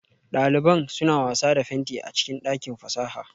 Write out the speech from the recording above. Daliban suna wasa da fenti a cikin dakin fasaha